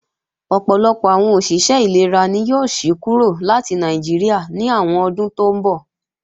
Ọ̀pọ̀lọpọ̀ àwọn òṣìṣẹ́ ìlera ni yóò sí kúrò láti Nàìjíríà ní àwọn ọdún tó ńbọ̀